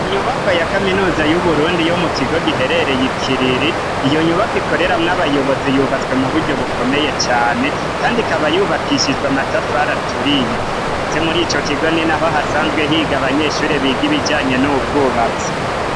Inyubakwa ya kaminuza y'Uburundi yo mukigo giherereye ikiriri, iyo nyubakwa ikoreramwo abayobozi yubatswe muburyo bukomeye cane, kandi ikaba yubakishijwe amatafari aturiye, ndetse mur'ico kigo ninaho hasanzwe higa abanyeshure biga ibijanye n'ubwubatsi.